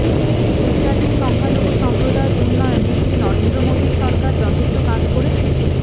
গুজরাটে সংখ্যালঘু সম্প্রদাযের উন্নয়নে কি নরেন্দ্র মোদী সরকার যথেষ্ট কাজ করেছে